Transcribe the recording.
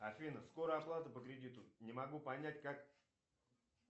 афина скоро оплата по кредиту не могу понять как